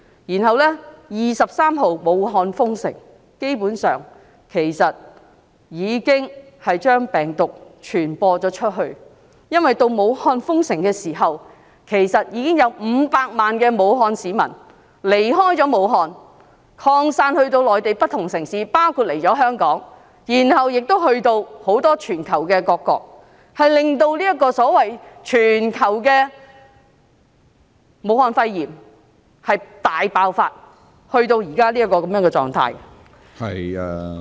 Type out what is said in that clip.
武漢在1月23日封城，但基本上病毒已經傳播出去，因為武漢封城前，已經有500萬名武漢市民離開武漢，分散至內地不同城市，包括前來香港，然後前往全球各國，令這個所謂全球性的武漢肺炎大爆發至目前的狀態......